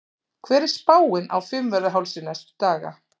hver er spáin á fimmvörðuhálsi næstu daga